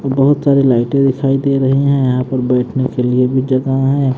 बहुत सारी लाइटें दिखाई दे रही हैं यहां पर बैठने के लिए भी जगह है।